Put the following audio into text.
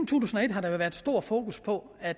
tusind og et har der jo været stor fokus på at